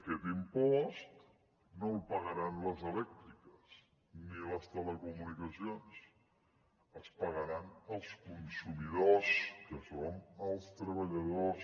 aquest impost no el pagaran les elèctriques ni les telecomunicacions el pagaran els consumidors que som els treballadors